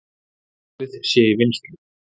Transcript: Málið sé í vinnslu.